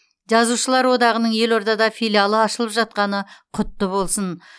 жазушылар одағының елордада филиалы ашылып жатқаны құтты болсын